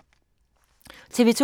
TV 2